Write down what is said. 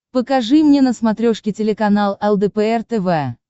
покажи мне на смотрешке телеканал лдпр тв